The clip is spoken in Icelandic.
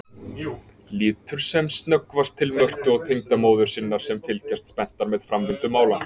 Lítur sem snöggvast til Mörtu og tengdamóður sinnar sem fylgjast spenntar með framvindu mála.